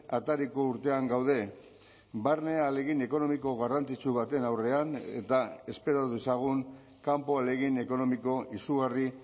atariko urtean gaude barne ahalegin ekonomiko garrantzitsu baten aurrean eta espero dezagun kanpo ahalegin ekonomiko izugarri